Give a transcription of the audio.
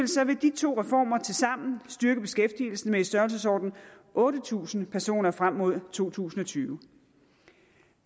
de to reformer tilsammen styrke beskæftigelsen med i størrelsesordenen otte tusind personer frem mod to tusind og tyve